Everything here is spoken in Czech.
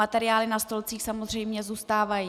Materiály na stolcích samozřejmě zůstávají.